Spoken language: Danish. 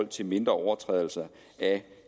til mindre overtrædelser af